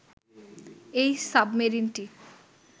এই সাবমেরিনটি